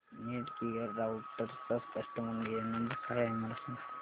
Netgear राउटरचा customer care number काय आहे मला सांग